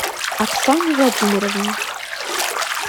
оксане владимировне